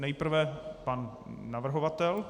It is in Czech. Nejprve pan navrhovatel.